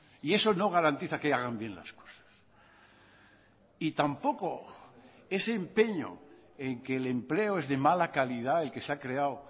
y eso no garantiza que hagan bien las cosas y tampoco ese empeño en que el empleo es de mala calidad el que se ha creado